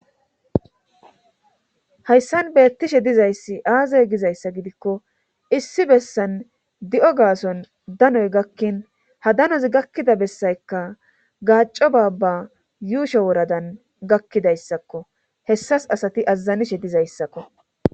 Hayssan beettishe dizayssi aazay gizayssa gidikko issi bessan di7o gaason danoy gakkin ha danoz gakkida bessaykka gaaco baabba yuusho woradan gakkidayssakko hessas asati azazanishe dizayssakko